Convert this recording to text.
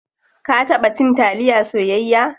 Ka taba cin taliya soyayya?